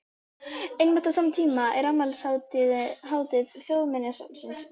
Einmitt á sama tíma er afmælishátíð Þjóðminjasafnsins í